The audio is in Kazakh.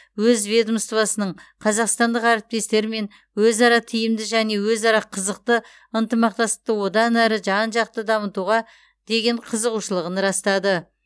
өз ведомствосының қазақстандық әріптестермен өзара тиімді және өзара қызықты ынтымақтастықты одан әрі жан жақты дамытуға деген қызығушылығын растады